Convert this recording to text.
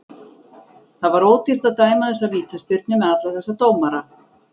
Það var ódýrt að dæma þessa vítaspyrnu með alla þessa dómara.